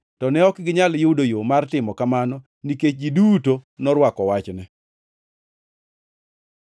To ne ok ginyal yudo yo mar timo kamano, nikech ji duto norwako wachne.